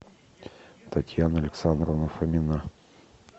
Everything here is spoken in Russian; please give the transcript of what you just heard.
татьяна александровна фомина